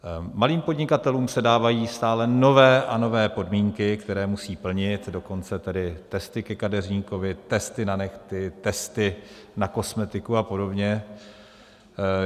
Malým podnikatelům se dávají stále nové a nové podmínky, které musí plnit, dokonce tedy testy ke kadeřníkovi, testy na nehty, testy na kosmetiku a podobně.